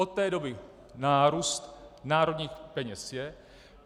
Od té doby nárůst národních peněz je.